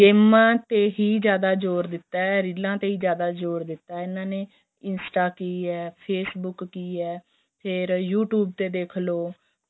ਗੇਮਾਂ ਤੇ ਹੀ ਜਿਆਦਾ ਜ਼ੋਰ ਦਿੱਤਾ ਏ ਰੀਲਾਂ ਤੇ ਜਿਆਦਾ ਜ਼ੋਰ ਦਿੱਤਾ ਏ ਇਹਨਾ ਨੇ instance a ਕਿ ਏ Facebook ਕਿ ਏ ਫ਼ੇਰ you tube ਤੇ ਦੇਖਲੋ